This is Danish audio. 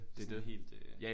Det sådan helt øh